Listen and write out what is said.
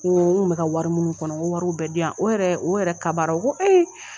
Ko n kun mi ka wari minnu kɔnɔ, n ko wariw bɛ diyan, o yɛrɛ o yɛrɛ kabara o ko